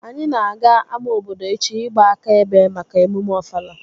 Anyị na-aga ama obodo echi ịgba aka ebe Mak emume Ofala